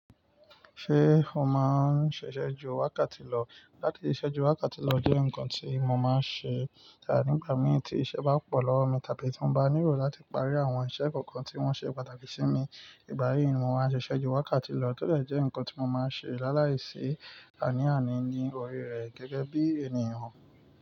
Ṣé o máa ń ṣiṣẹ̀ ju wákàtí lọ? Látí ṣiṣẹ̀ ju wákàtí lọ jẹ́ ǹkan tí mo máa ń ṣe nígbà mì tí iṣẹ́ bá pọ̀ lọ́wọ́ mi tàbí tí mo bá nílò láti parí àwọn iṣẹ́ kọ̀ọ̀kan tí wọ́n ṣe pàtàkì sí mi. Ìgbá yyí ni mo máa ń ṣe iṣẹ̀ ju wákàtí lọ tọ dẹ̀ jẹ́ ǹkan tí mo máa ń ṣe lálàíṣe àní àní ní orí rẹ̀ gẹ́gẹ́ bí ènìyàn.